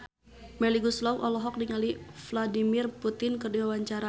Melly Goeslaw olohok ningali Vladimir Putin keur diwawancara